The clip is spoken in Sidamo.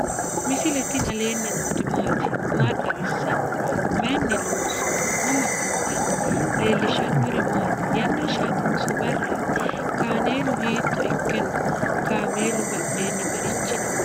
misile tini alenni nooti maati? maa xawissanno? Maayinni loonisoonni? mama affanttanno? leelishanori maati? yana hashatinso barati? kaanelu hitto iikke noo? kamelu badhenni marichi no?